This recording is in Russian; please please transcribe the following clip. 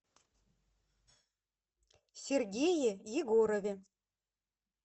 сергее егорове